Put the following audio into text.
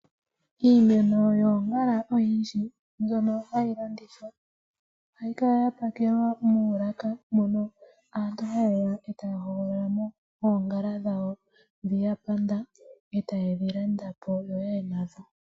Iimeno yoongala oyindji ndjono hayi landithwa ohayi kala ya pakelwa muulaka mono aantu haye ya e taya hogolola mo oongala dhawo ndhi ya panda e taye dhi landa po yaye nadho.